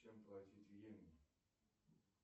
чем платить в йемене